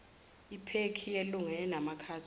iphekhi yelunga enamakhadi